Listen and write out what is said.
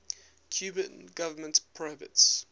cuban government prohibits